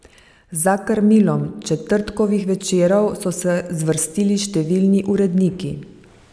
Za krmilom Četrtkovih večerov so se zvrstili številni uredniki.